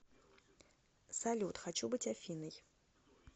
салют хочу быть афиной